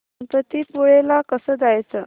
गणपतीपुळे ला कसं जायचं